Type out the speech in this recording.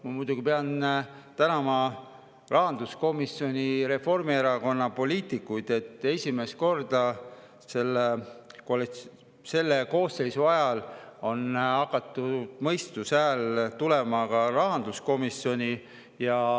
Ma muidugi pean tänama rahanduskomisjoni Reformierakonnast, et esimest korda selle koosseisu ajal on mõistuse häält ka rahanduskomisjonis.